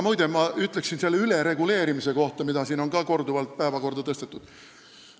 Muide, ma ütleksin nüüd ülereguleerimise kohta, mida siin on korduvalt päevakorda tõstetud.